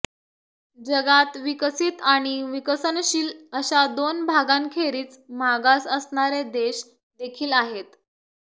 जगात विकसित आणि विकसनशील अशा दोन भागांखेरीज मागास असणारे देश देखील आहेत